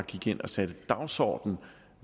gik ind og satte dagsordenen